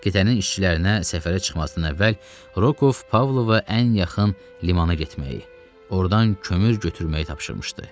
Gəminin işçilərinə səfərə çıxmasından əvvəl Rokov Pavlova ən yaxın limana getməyi, ordan kömür götürməyi tapşırmışdı.